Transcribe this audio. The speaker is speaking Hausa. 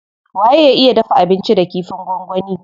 Waye ya iya dafa abinci da kifin gwangwani.